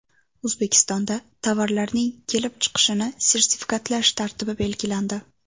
O‘zbekistonda tovarlarning kelib chiqishini sertifikatlash tartibi belgilandi.